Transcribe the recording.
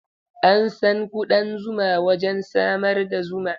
An san kuɗan zuma wajen samar da zuma.